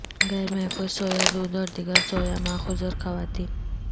غیر محفوظ سویا دودھ اور دیگر سویا ماخوذ اور خواتین